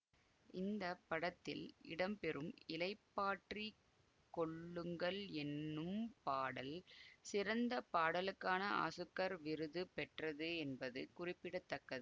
இந்த படத்தில் இடம் பெறும் இளைப்பாற்றிக் கொள்ளுங்கள் என்னும் பாடல் சிறந்த பாடலுக்கான ஆசுக்கார் விருது பெற்றது என்பது குறிப்பிட தக்கது